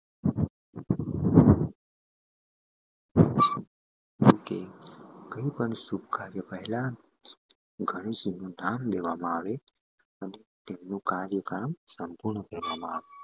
okay કંઈ પણ સુખ કાર્ય પહેલા લેવામાં આવે અને તેમનું કાર્ય કામ સંપૂર્ણ કહેવામાં આવે